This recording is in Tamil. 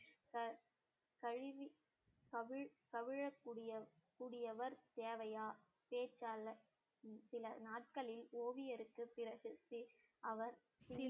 க~ கழுவி கவிழ் கவிழக்கூடிய கூடியவர் பேச்சாளர் சில நாட்களில் ஓவியர்க்கு பிறகு அவர்